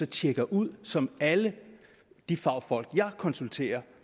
tjekker ud som alle de fagfolk jeg konsulterer